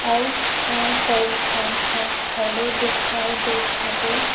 अऊ अ कई जन ह खड़े देखाई देत हबे।